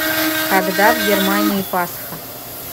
когда в германии пасха